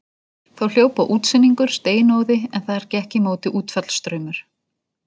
Þá hljóp á útsynningur steinóði en þar gekk í móti útfallsstraumur.